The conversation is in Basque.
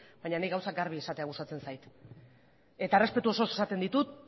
baina ni gauzak garbi esatea gustatzen zait eta errespetu osoz esaten ditut